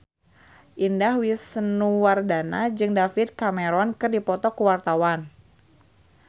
Indah Wisnuwardana jeung David Cameron keur dipoto ku wartawan